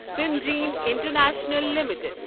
سٕینجین international limited